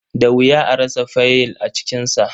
Da wuya a rasa faiyil a cikinsa.